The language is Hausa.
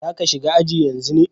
Za ka shiga aji yanzu ne?